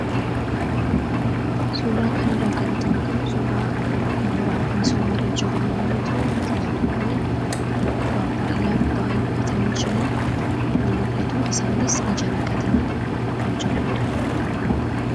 Suuraa kana irraa kan nuti arginu suuraa mooraa misooma irra jiru yemmuu ta'u, biqiltuuwwan pappaayyaa baay'atanii jiran nimul'atu isaanis ija naqatanii kan jiranidha.